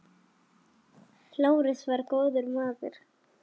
Lárus var góður maður.